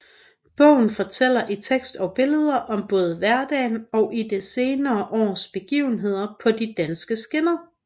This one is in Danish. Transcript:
Bogen fortæller i tekst og billeder om både hverdagen og det seneste års begivenheder på de danske skinner